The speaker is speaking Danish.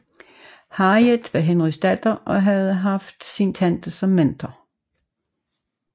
Harriet var Henrys datter og havde haft ½sin tante som mentor